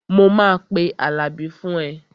Mo máa pe Àlàbí fún ẹ